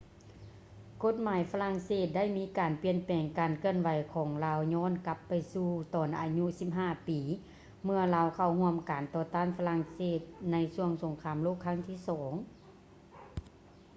ກົດໝາຍຝຣັ່ງເສດໄດ້ມີການປ່ຽນແປງ ການເຄື່ອນໄຫວຂອງລາວຍ້ອນກັບໄປສູ່ຕອນອາຍຸ 15 ປີ ເມື່ອລາວເຂົ້າຮ່ວມການຕໍ່ຕ້ານຝຣັ່ງເສດໃນຊ່ວງສົງຄາມໂລກຄັ້ງທີ ii